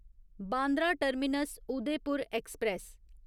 Bandra terminus Udaipur express